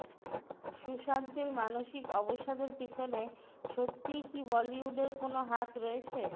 সুশান্তের মানসিক অবসাদের পিছনে সত্যিই কি বলিউডের কোনও হাত রয়েছে